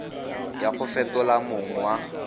ya go fetola mong wa